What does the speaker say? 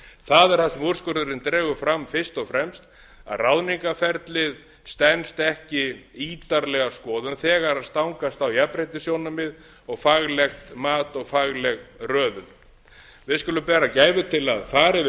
það er það sem úrskurðurinn dregur fram fyrst og fremst að ráðningarferlið stenst ekki ítarlega skoðun þegar stangast á jafnréttissjónarmið og faglegt mat og fagleg röðun við skulum bera gæfu til að fara yfir